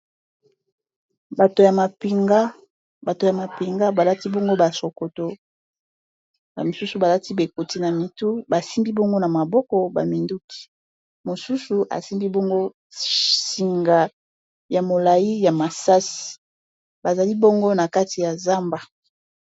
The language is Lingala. bato ya mapinga balati bongo basokoto misusu balati bekoti na mitu basimgi bongo na maboko baminduki mosusu asimbi bongo singa ya molai ya masasi bazali bongo na kati ya zamba